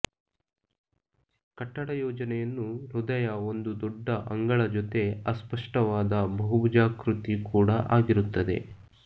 ಕಟ್ಟಡ ಯೋಜನೆಯನ್ನು ಹೃದಯ ಒಂದು ದೊಡ್ಡ ಅಂಗಳ ಜೊತೆ ಅಸ್ಪಷ್ಟವಾದ ಬಹುಭುಜಾಕೃತಿ ಕೂಡಾ ಆಗಿರುತ್ತದೆ